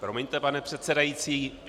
Promiňte, pane předsedající.